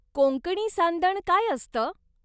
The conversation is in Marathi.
कोंकणी सांदण काय असतं?